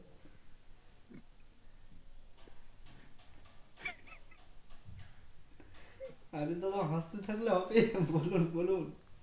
অরে দাদা হাসতে থাকলে হবে বলুন বলুন